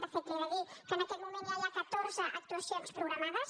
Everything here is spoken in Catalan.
de fet li he de dir que en aquest moment ja hi ha catorze actuacions programades